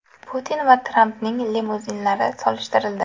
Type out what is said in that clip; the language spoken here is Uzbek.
Putin va Trampning limuzinlari solishtirildi.